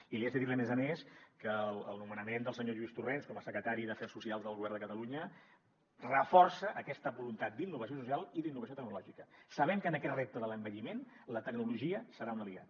i li haig de dir a més a més que el nomenament del senyor lluís torrens com a secretari d’afers socials del govern de catalunya reforça aquesta voluntat d’innovació social i d’innovació tecnològica sabent que en aquest repte de l’envelliment la tecnologia serà un aliat